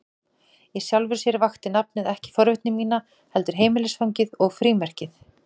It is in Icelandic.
Í sjálfu sér vakti nafnið ekki forvitni mína, heldur heimilisfangið og frímerkið.